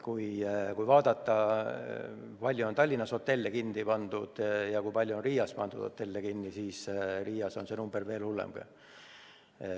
Kui vaadata, kui palju on Tallinnas hotelle kinni pandud ja kui palju on Riias hotelle kinni pandud, siis Riias on see number veel suurem.